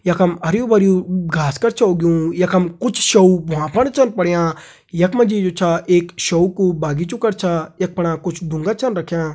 यखम हरयूं भरयुं घास कर छ उगयुं यखम कुछ भ्वां पर छन पडियां यखमा जी जू छ एक कू बगीचु कर छ अपणा कुछ डूंगा छन रख्यां।